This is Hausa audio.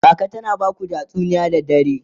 kaka tana Baku tatsuniya da dare?